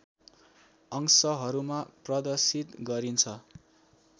अंशहरूमा प्रदर्शित गरिन्छ